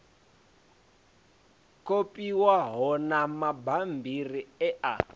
kopiwaho na mabammbiri e a